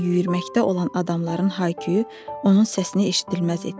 Lakin yüyməkdə olan adamların hayküyü onun səsini eşidilməz etdi.